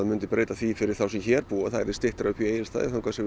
myndi breyta því fyrir þá sem hér búa að það yrði styttra upp í Egilsstaði þar sem við